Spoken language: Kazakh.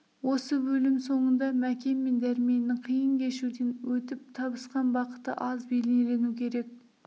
осы бөлім соңында мәкен мен дәрменнің қиын кешуден өтіп табысқан бақыты аз бейнелену керек